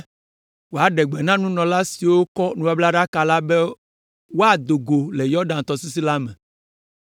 wòaɖe gbe na nunɔla siwo kɔ nubablaɖaka la be woado go le Yɔdan tɔsisi la me.